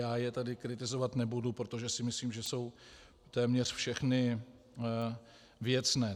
Já je tady kritizovat nebudu, protože si myslím, že jsou téměř všechny věcné.